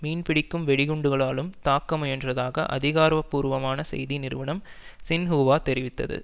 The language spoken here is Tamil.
மீன்பிடிக்கும் வெடிகுண்டுகளாலும் தாக்க முயன்றதாக அதிகாரபூர்வமான செய்தி நிறுவனம் சின்ஹூவா தெரிவித்தது